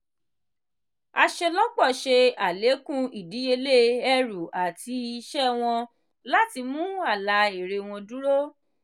aṣelọpọ ṣe alekun idiyele ẹru ati iṣẹ wọn láti mú àlà èrè wọn dúró.